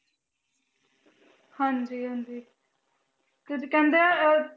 ਹਾਂਜੀ ਹਾਂਜੀ ਕਹਿੰਦੇ ਅਹ